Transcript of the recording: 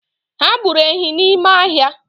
Ha gburu ehi n’ime ahia